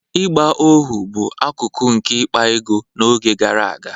ịgba ohu bụ akụkụ nke ịkpa ego n'oge gara aga